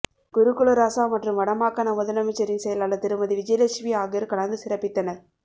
குருகுலராசா மற்றும் வட மாகாண முதலமைச்சரின் செயலாளர் திருமதி விஜயலட்சுமி ஆகியோர் கலந்து சிறப்பித்தனர்